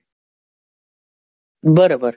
બરોબર.